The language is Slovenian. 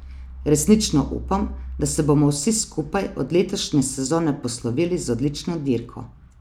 Resnično upam, da se bomo vsi skupaj od letošnje sezone poslovili z odlično dirko.